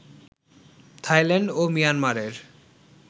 Thailand ও মিয়ানমারের